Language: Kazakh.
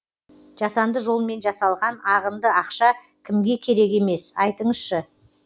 жасанды жолмен жасалған ағынды ақша кімге керек емес айтыңызшы